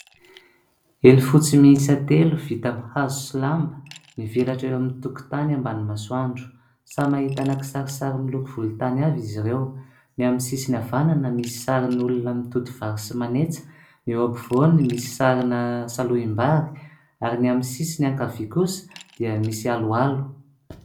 Elo fotsy miisa telo vita amin'ny hazo sy lamba, mivelatra eo amin'ny tokotany ambany masoandro. Samy ahitana kisarisary miloko volontany avy izy ireo. Ny amin'ny sisiny havanana misy sarin'olona mitoto vary sy manetsa, eo ampovoany misy sarina salohim-bary ary ny amin'ny sisiny ankavia kosa dia misy aloalo.